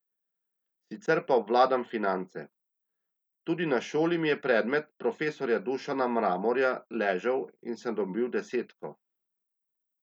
Sicer pa obvladam finance, tudi na šoli mi je predmet profesorja Dušana Mramorja ležal in sem dobil desetko.